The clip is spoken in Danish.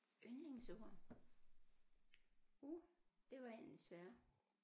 Yndlingsord uh det var en af de svære